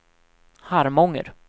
Harmånger